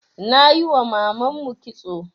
Nayiwa mamanmu kitso